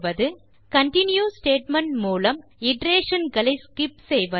3continue statement மூலம் iteration களை skip செய்வது